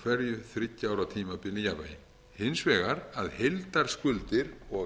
hverju þriggja ára tímabili í jafnvægi hins vegar að heildarskuldir og